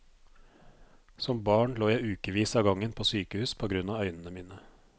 Som barn lå jeg i ukevis av gangen på sykehus på grunn av øynene mine.